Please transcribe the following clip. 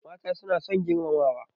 Mata suna son girmamawa.